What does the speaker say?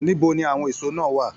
Níbo ní àwọn èsó náà wà?